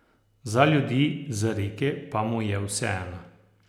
Za ljudi z reke pa mu je vseeno.